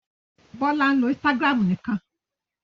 Bọ́lá ń lo Instagram nìkan.